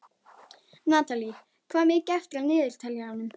Natalí, hvað er mikið eftir af niðurteljaranum?